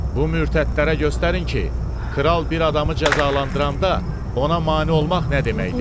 Bu mürtədlərə göstərin ki, kral bir adamı cəzalandıranda ona mane olmaq nə deməkdir?